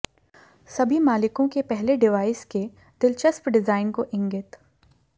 सभी मालिकों के पहले डिवाइस के दिलचस्प डिजाइन को इंगित